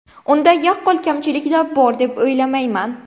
Unda yaqqol kamchiliklar bor deb o‘ylamayman.